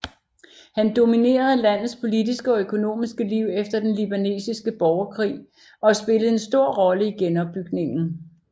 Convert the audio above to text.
Han dominerede landets politiske og økonomiske liv efter den libanesiske borgerkrig og spillede en stor rolle i genopbygningen